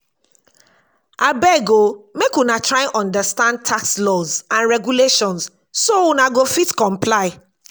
abeg o make una try understand tax laws and regulations so una go fit comply.